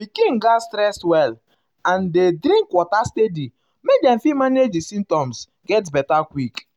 pikin gatz um rest well and dey drink water steady make dem fit manage di symptoms get um beta quick.